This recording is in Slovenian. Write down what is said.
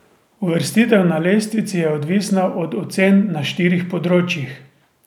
Uvrstitev na lestvici je odvisna od ocen na štirih področjih.